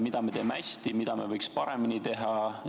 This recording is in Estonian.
Mida me teeme hästi, mida me võiks paremini teha?